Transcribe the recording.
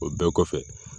O bɛɛ kɔfɛ